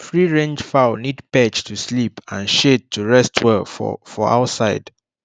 freerange fowl need perch to sleep and shade to rest well for for outside